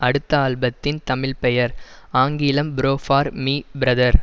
அடுத்த ஆல்பத்தின் தமிழ் பெயர் ஆங்கிலம் ப்ரோ பார் மீ பிரதர்